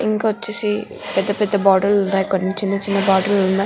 ఇంకొచ్చేసి పెద్ద పెద్ద బాటిల్ ఉన్న చిన్న చిన్న బాటిల్ ఉన్నాయి.